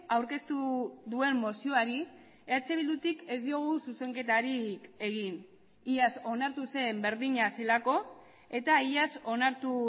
aurkeztu duen mozioari eh bildutik ez diogu zuzenketarik egin iaz onartu zen berdina zelako eta iaz onartu